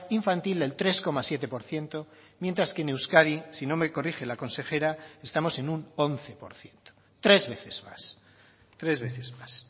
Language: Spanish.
infantil del tres coma siete por ciento mientras que en euskadi si no me corrige la consejera estamos en un once por ciento tres veces más tres veces más